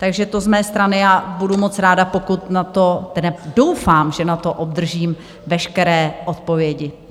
Takže to z mé strany a budu moc ráda, pokud na to, doufám, že na to obdržím veškeré odpovědi.